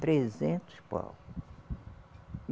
Trezentos pau.